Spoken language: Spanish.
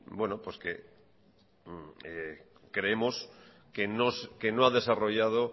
creemos que no ha desarrollado